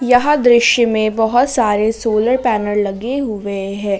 यह दृश्य में बहोत सारे सोलर पैनल लगे हुए हैं।